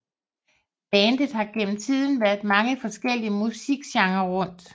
Bandet har gennem tiden været mange forskellige musikgenrer rundt